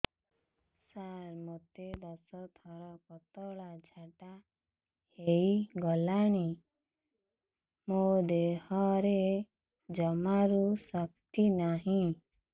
ସାର ମୋତେ ଦଶ ଥର ପତଳା ଝାଡା ହେଇଗଲାଣି ମୋ ଦେହରେ ଜମାରୁ ଶକ୍ତି ନାହିଁ